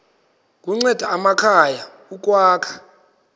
kunceda amakhaya ukwakha